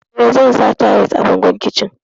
Eh, zan sa tayis a bangon kicin.